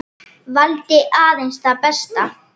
Valdi aðeins það besta.